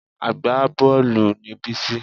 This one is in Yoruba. Agbábọ́ọ̀lù ni Bísí